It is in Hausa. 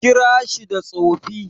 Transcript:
Kira shi da Tsofi.